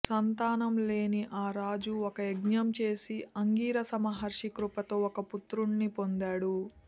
సంతానం లేని ఆ రాజు ఒక యజ్ఞం చేసి అంగీరస మహర్షి కృపతో ఒక పుత్రుడిని పొందాడు